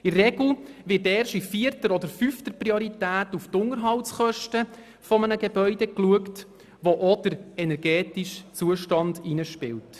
Die Unterhaltskosten eines Gebäudes werden in der Regel erst in vierter oder fünfter Priorität geprüft, wo auch der energetische Zustand eine Rolle spielt.